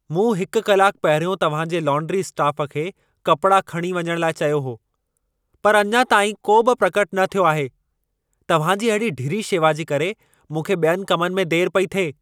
मूं हिकु कलाकु पहिरियों तव्हां जे लौन्ड्री स्टाफ़ खे कपिड़ा खणी वञण लाइ चयो हो। पर अञा ताईं को बि प्रकट न थियो आहे। तव्हां जी अहिड़ी ढिरी शेवा जे करे मूंख़े ॿियनि कमनि में देर पई थिए।